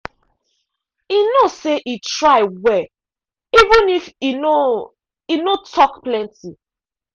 e know say e try well even if e no e no talk plenty.